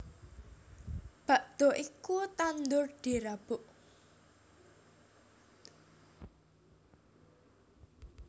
Bakda iku tandur dirabuk